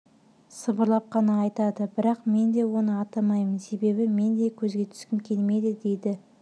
сыбырлап қана айтады бірақ мен де оны атамаймын себебі мен де көзге түскім келмейді деді